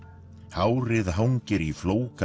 hárið hangir í